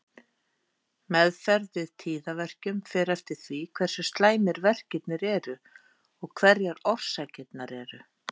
Meðferð við tíðaverkjum fer eftir því hversu slæmir verkirnir eru og hverjar orsakirnar eru.